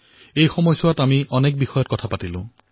ই সময়ছোৱাত আমি অনেক বিষয়ৰ ওপৰত কথা পাতিলো